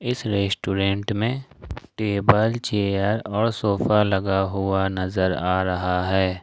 इस रेस्टोरेंट में table chair और सोफा लगा हुआ नजर आ रहा है।